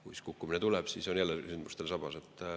Kui kukkumine tuleb, siis ollakse jälle sündmustel sabas.